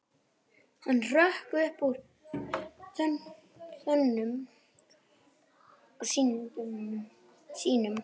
Hann hrökk upp úr þönkum sínum.